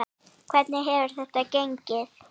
Hvernig hefur þetta gengið?